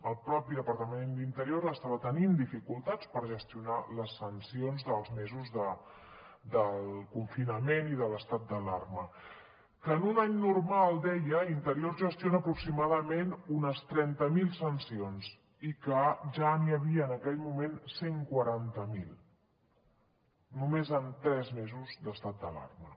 el mateix departament d’interior estava tenint dificultats per gestionar les sancions dels mesos del confinament i de l’estat d’alarma que en un any normal deia interior gestiona aproximadament unes trenta mil sancions i que ja n’hi havia en aquell moment cent i quaranta miler només en tres mesos d’estat d’alarma